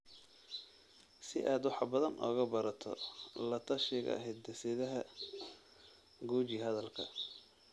Si aad wax badan uga barato la-tashiga hidde-sidaha, guji halkan.